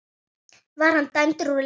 Var hann dæmdur úr leik?